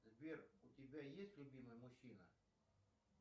сбер у тебя есть любимый мужчина